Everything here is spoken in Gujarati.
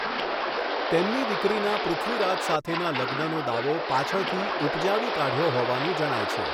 તેમની દીકરીના પૃથ્વીરાજ સાથેના લગ્નનો દાવો પાછળથી ઉપજાવી કાઢ્યો હોવાનું જણાય છે.